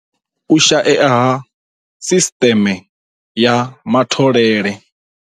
U shaea ha sisteme ya matholele.